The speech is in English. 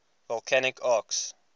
volcanic arcs